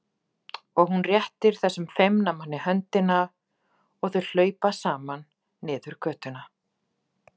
Og hún réttir þessum feimna manni höndina og þau hlaupa saman niður götuna.